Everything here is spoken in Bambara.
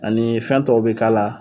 Ani fɛn tɔw bɛ k'a la.